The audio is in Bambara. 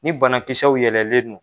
Ni banakisɛw yɛlɛlen don